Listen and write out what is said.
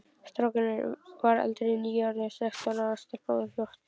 Strákurinn var eldri, nýorðinn sextán ára, stelpan var fjórtán.